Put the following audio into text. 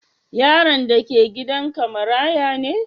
Yaron da ke gidan ka maraya ne?